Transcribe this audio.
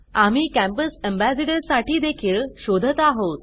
आम्ही campus ambassador साठी देखील शोधत आहोत